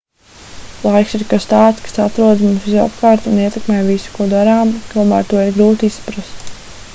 laiks ir kas tāds kas atrodas mums visapkārt un ietekmē visu ko darām tomēr to ir grūti izprast